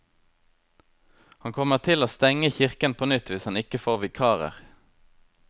Han kommer til å stenge kirken på nytt hvis han ikke får vikarer.